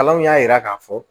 Kalanw y'a yira k'a fɔ